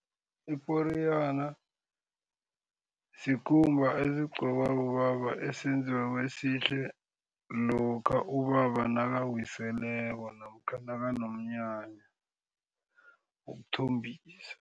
Iporiyana sikhumba esigqokwa bobaba esenziweko esihle. Lokha ubaba nakawiseleko namkha nakanomnyanya wokuthombisa.